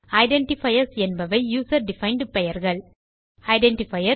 identifiers என்பவை user defined பெயர்கள் identifier